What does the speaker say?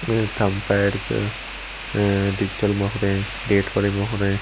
thumb pads a digital मोहरे date वाले मोहरे--